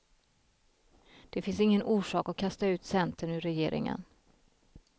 Det finns ingen orsak att kasta ut centern ur regeringen.